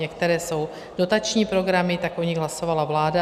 Některé jsou dotační programy, tak o nich hlasovala vláda.